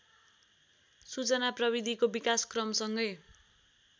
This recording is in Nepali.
सूचना प्रविधिको विकासक्रमसँगै